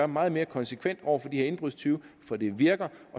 meget mere konsekvent over for de her indbrudstyve for det virker